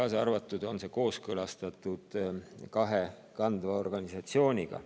Samuti on see kooskõlastatud kahe kandva organisatsiooniga.